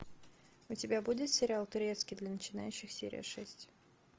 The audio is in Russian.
у тебя будет сериал турецкий для начинающих серия шесть